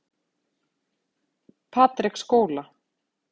Patreksskóla